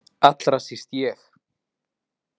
Allra síst ég.